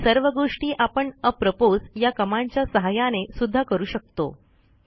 वरील सर्व गोष्टी आपण अप्रोपोस या कमांडच्या सहाय्याने सुध्दा करू शकतो